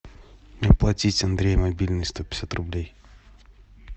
оплатить андрей мобильный сто пятьдесят рублей